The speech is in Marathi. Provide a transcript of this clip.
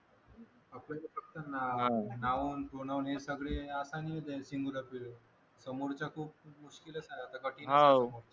नावावरून तोंडावरून हे सगळे समोरचा खूप मुश्किलच आहे आता कठीणच आहे